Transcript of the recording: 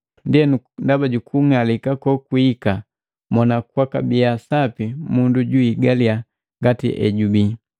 Ndienu ndaba jukung'alika kokwihika mona kwakabiya sapi mundu juhigaliya ngati ejubii.